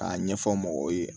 K'a ɲɛfɔ mɔgɔw ye